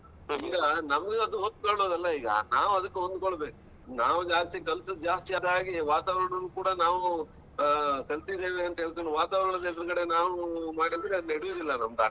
ಈಗ ನಮಗೆ ಅದು ಹೊಂದ್ಕೊಳ್ಳೋದಲ್ಲ ಈಗ ನಾವು ಅದ್ಕಕೆ ಹೊಂದ್ಕೋಳ್ಬೇಕು. ನಾವು ಜಾಸ್ತಿ ಕಲ್ತದ್ ಜಾಸ್ತಿ ಆದಾಗೆ ವಾತಾವರಣವು ಕೂಡ ನಾವು ಆ ಕಲ್ತಿದ್ದೇವೆ ಅಂತ ಹೇಳ್ಕೊಂಡ್ ವಾತಾವರಣದ ಎದುರುಗಡೆ ನಾವು ಮಾಡಿದ್ರೆ ಅದ್ ನಡೆಯುದಿಲ್ಲ ನಮ್ದ್ ಆಟ.